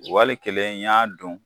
Wali kelen n y'a dun